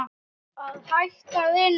Að hætta að vinna?